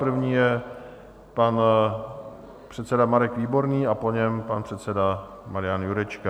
První je pan předseda Marek Výborný a po něm pan předseda Marian Jurečka.